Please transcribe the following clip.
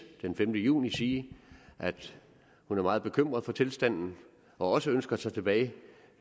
den femte juni sige at hun er meget bekymret for tilstanden og også ønsker sig tilbage